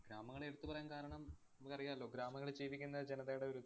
ഗ്രാമങ്ങളെ എടുത്തുപറയാന്‍ കാരണം നമുക്കറിയാലോ ഗ്രാമങ്ങളില്‍ ജീവിക്കുന്ന ജനതയുടെ ഒരു ഇത്.